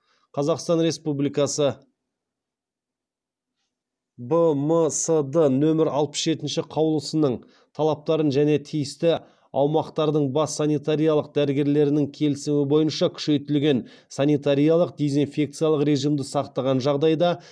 қазақстан республикасы бмсд нөмірі алпыс жетінші қаулысының талаптарын және тиісті аумақтардың бас санитариялық дәрігерлерінің келісімі бойынша күшейтілген санитариялық дезинфекциялық режимді сақтаған жағдайда